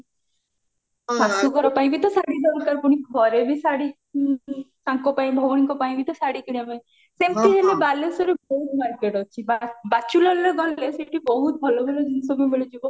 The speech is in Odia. ଶାଶୁ ଘର ପାଇଁ ବି ତ ଶାଢୀ ଦରକାର ପୁଣି ଘରେ ବି ଶାଢୀ ତାଙ୍କ ପାଇଁ ଭଉଣୀଙ୍କ ପାଇଁ ବି ତ ଶାଢୀ କିଣିବା ପାଇଁ ସେମତି ହେଲେ ବାଲେଶ୍ଵରରେ ବହୁତ market ଅଛି ଗଲେ ସେଠି ବହୁତ ଭଲ ଭଲ ଜିନିଷ ବି ମିଳିଯିବ